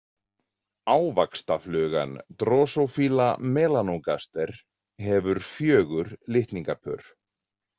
Ávaxtaflugan Drosophila melanogaster hefur fjögur litningapör.